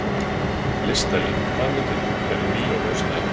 Listalín, hvaða myndir eru í bíó á föstudaginn?